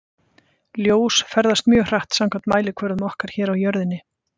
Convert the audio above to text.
Ljós ferðast mjög hratt samkvæmt mælikvörðum okkar hér á jörðinni.